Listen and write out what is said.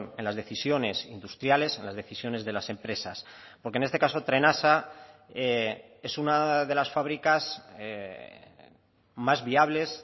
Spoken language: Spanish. en las decisiones industriales en las decisiones de las empresas porque en este caso trenasa es una de las fabricas más viables